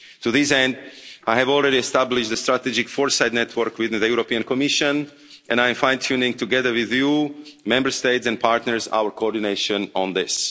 To this end, I have already established a strategic foresight network within the European Commission and I am fine tuning together with EU Member States and partners our coordination on